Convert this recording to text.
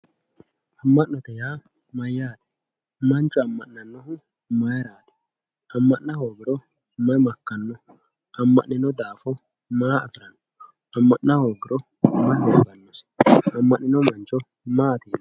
amma'note yaa mayyaate manchu amma'nnannohu mayeeraati amma'na hoogiro maye gatanno amma'nino daafo maa afiranno amma'nino daafo maye lexxannosi amma'nino mancho maati yinanni